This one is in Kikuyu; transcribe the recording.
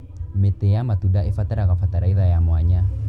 Mĩtĩ ya matunda ĩbataraga bataraitha ya mwanya.